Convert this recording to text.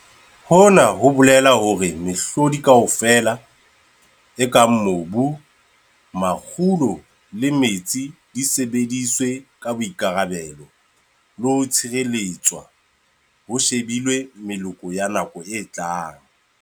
HONA HO BOLELA HORE MEHLODI KAOFELA, E KANG MOBU, MAKGULO LE METSI DI SEBEDISWE KA BOIKARABELO LE HO TSHIRELETSWA HO SHEBILWE MELOKO YA NAKO E TLANG.